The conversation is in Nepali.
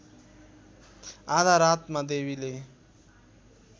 आधा रातमा देवीले